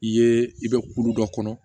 I ye i bɛ kulu dɔ kɔnɔ